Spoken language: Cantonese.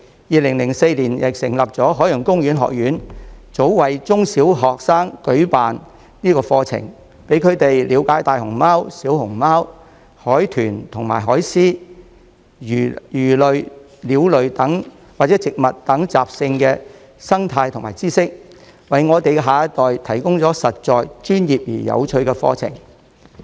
2004年成立的香港海洋公園學院早為中、小學生舉辦課程，讓他們了解大熊貓、小熊貓、海豚和海獅、魚類、鳥類或植物等的習性和生態知識，為我們的下一代提供實在、專業而有趣的課程。